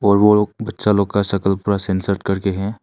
बच्चा लोग का शकल पूरा सनसेट करके हैं।